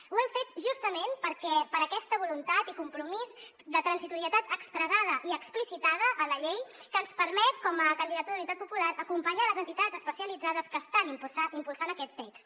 ho hem fet justament per aquesta voluntat i compromís de transitorietat expressada i explicitada en la llei que ens permet com a candidatura d’unitat popular acompanyar les entitats especialitzades que estan impulsant aquest text